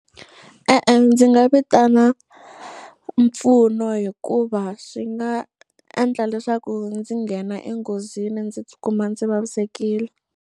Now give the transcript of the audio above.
E-e, ndzi nga vitana mpfuno hikuva swi nga endla leswaku ndzi nghena enghozini ndzi tikuma ndzi vavisekile.